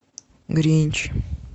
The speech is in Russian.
гринч